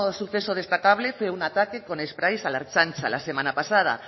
suceso destacable fue un ataque con espráis a la ertzaintza la semana pasada